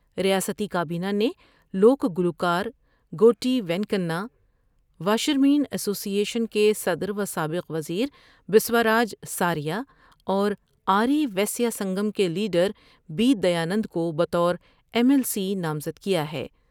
ریاستی کابینہ نے لوک گلوکار Goreti Venkanna, washerman association کے صدر و سابق وز یر بسواراج سار یا اور آ ری ویسیا سنگم کے لیڈر بی دیانند کو بطورایم ایل سی نامزد کیا ہے ۔